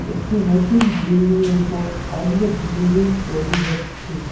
একটি নতুন বিল্ডিংয়ের উপর অন্য বিল্ডিং তৈরি হচ্ছে।